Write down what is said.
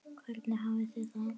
Hvernig hafið þið það?